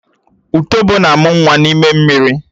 Ùtòbó na-ámu nwa n'ime mmiri